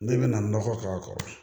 Ne bɛna nɔgɔ k'a kɔrɔ